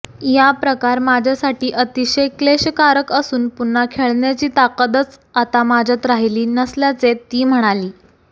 या प्रकार माझ्यासाठी अतिशय क्लेशकारक असून पुन्हा खेळण्याची ताकदच आता माझ्यात राहिली नसल्याचे ती म्हणाली